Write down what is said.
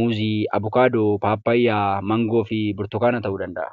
Muuzii, Avukadoo, Abukadoo, Papayaa, Mangoofi Burtukanaa ta'uu danda'a.